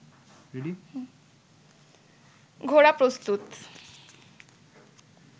ঘোড়া প্রস্তুত